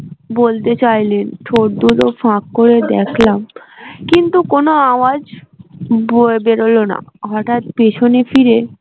বলতে চাইলেন ঠোঁট দুটো ফাঁক করে দেখলাম কিন্তু কোন আওয়াজ বেরোল না হঠাৎ পেছনে ফিরে